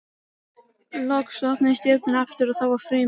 Loks opnuðust dyrnar aftur og það var Frímann.